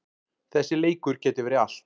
Þessi leikur gæti verið allt.